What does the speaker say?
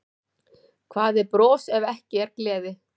Hvað er bros ef ekki er gleði?